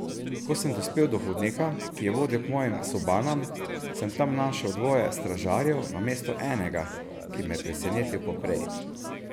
Ko sem dospel do hodnika, ki je vodil k mojim sobanam, sem tam našel dvoje stražarjev namesto enega, ki me je presenetil poprej.